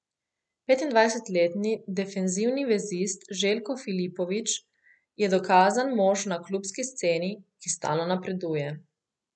Petindvajsetletni defenzivni vezist Željko Filipović je dokazan mož na klubski sceni, ki stalno napreduje.